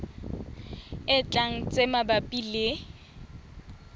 e tlang tse mabapi le